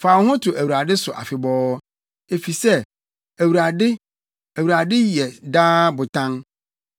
Fa wo ho to Awurade so afebɔɔ, efisɛ, Awurade, Awurade yɛ daa Botan.